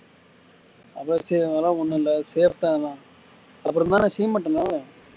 ஒன்னும் இல்லை தான் எல்லாம் அப்புரமா நான் செய்யமாட்டேன்னா